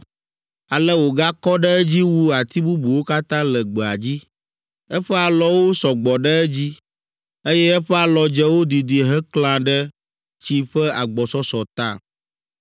Ale wògakɔ ɖe edzi wu ati bubuwo katã le gbea dzi. Eƒe alɔwo sɔ gbɔ ɖe edzi, eye eƒe alɔdzewo didi hekla ɖe tsi ƒe agbɔsɔsɔ ta.